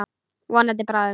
Vonandi bráðum.